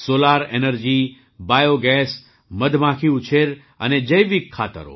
solar energy biogas મધમાખી ઉછેર અને જૈવિક ખાતરો